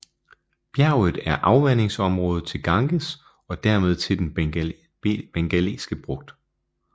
Bjerget er afvandingsområde til Ganges og dermed til Den Bengalske Bugt